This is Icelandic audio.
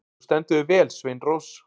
Þú stendur þig vel, Sveinrós!